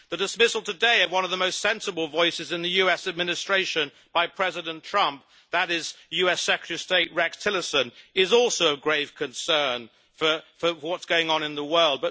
The dismissal today of one of the most sensible voices in the US administration by President Trump that is US Secretary of State, Rex Tillerson is also of grave concern for what's going on in the world.